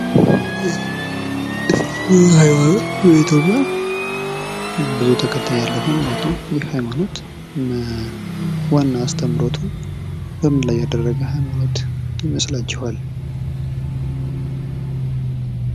ይህ የእስልምና ሀይማኖት በኢትዮጵያ ብዙ ተከታይ ያለው ሀይማኖት ነው። ይህ ሀይማኖት ዋና አስተምሮቱ በምን ላይ ያደረገ ሀይማኖት ይመስላችኋል?